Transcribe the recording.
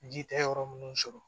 Ji tɛ yɔrɔ minnu sɔrɔ